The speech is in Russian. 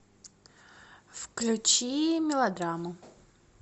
включи мелодраму